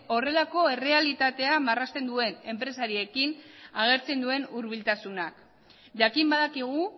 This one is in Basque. horrelako errealitatea marrazten duen enpresariekin agertzen duen hurbiltasunak jakin badakigu